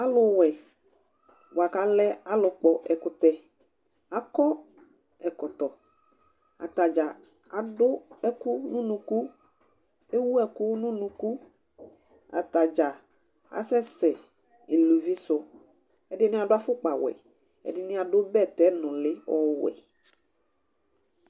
Alʋ wɛ bʋa kʋ alɛ ɔlʋ kpɔ ɛkʋtɛ :akɔ ɛkɔtɔ, atadza adʋ ɛkʋ nʋ unuku, ewu ɛkʋ nʋ unukuAtadza asɛsɛ iluvisʋƐdɩnɩ adʋ afʋkpa wɛ, ɛdɩnɩ adʋ bɛtɛ nʋlɩ ɔwɛ